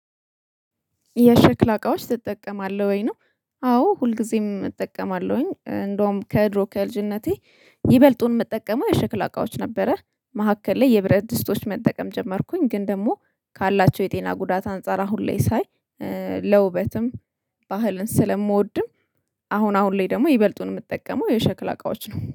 የሸክላ እቃዎች ትጠቀማለህ ወይ ነው? አዎ ሁልጊዜም እጠቀማለሁኝ። እንደውም ከድሮ ከልጅነቴ ይበልጡን ምጠቀመው የሸክላ እቃዎች ነበረ። መሃከል ላይ የብረት ድስቶች መጠቀም ጀመርኩኝ ግን ደግሞ ካላቸው የጤና ጉዳት አንፃር አሁን ላይ ሳይ። ለውበትም ባህልን ስለምወድም አሁን አሁን ላይ ደግሞ ይበልጡን የምጠቀመው የሸክላ እቃዎች ነው